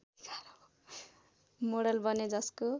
model बने जसको